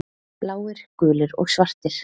Bláir, gulir og svartir.